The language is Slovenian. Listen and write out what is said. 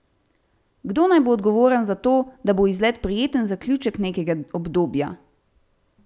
Kdo naj bo odgovoren za to, da bo izlet prijeten zaključek nekega obdobja?